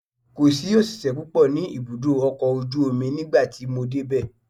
Kò sí òṣìṣẹ́ púpọ̀ ní ibùdó ọkọ̀ ojú omi nígbà tí mo dé bẹ̀.